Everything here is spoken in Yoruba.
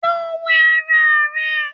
Lọ wẹ ara rẹ!